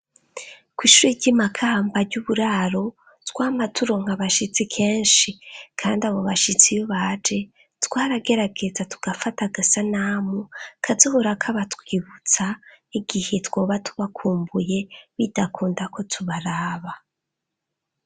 kwishuri ry'imakamba ry'uburaro twama turonka bashitsi kenshi kandi iyo abo bashitsi iyo baje twaragerageza tugafata agasanamu kazohora kabatwibutsa igihe twoba tubakumbuye bidakunda ko twobaraba